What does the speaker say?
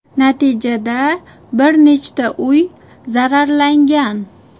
Natijada bir nechta uy zararlangan.